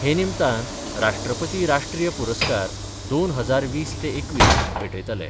हे निमतान राष्ट्रपती राष्ट्रीय पुरस्कार दोन हजार वीस ते एकवीस भेटयतले.